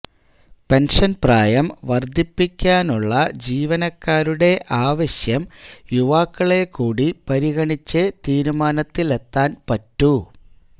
pension പ്രായം വര്ധിപ്പിക്കാനുള്ള ജീവനക്കാരുടെ ആവശ്യം യുവാക്കളെ കൂടി പരിഗണിച്ചെ തീരുമാനത്തിലെത്താന് പറ്റൂ